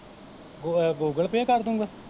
ਗੂ, Google ਪੈ ਕਰ ਦੂੰਗਾ।